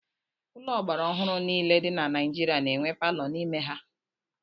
Ụlọ ọgbara ọhụrụ niile dị na Naijiria na-enwe palọ n'ime ha.